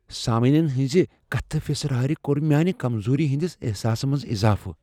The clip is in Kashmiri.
سامعین ہنزِ كتھہٕ فِسراریہ كۄر میٲنہِ كمزوُری ہندس احساسس منز اضافہٕ ۔